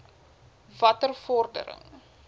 watter vordering